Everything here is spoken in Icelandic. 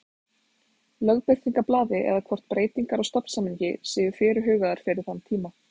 Lögbirtingablaði eða hvort breytingar á stofnsamningi séu fyrirhugaðar fyrir þann tíma.